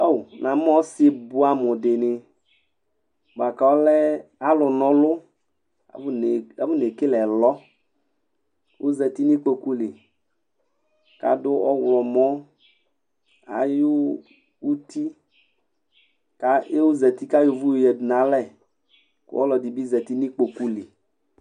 Namʋ ɔsi bʋɛamʋ dini bʋakʋ alɛ alʋ na ɔlʋ afɔne kele ɛlɔ kʋ ɔzati nʋ ikpokʋli kʋ adʋ ɔwlɔmɔ nu uti kʋ ɔzati kʋ ayɔ ʋvʋ yadʋ nʋ alɛ kʋ ɔlʋɛdibi zati nʋ ikpokʋli